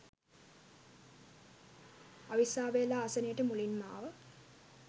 අවිස්සාවේල්ල ආසනේට මුලින්ම ආව